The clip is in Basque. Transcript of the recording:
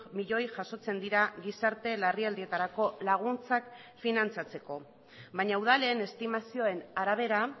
milioi jasotzen dira gizarte larrialdietarako laguntzak finantzatzeko baina udalen estimazioen arabera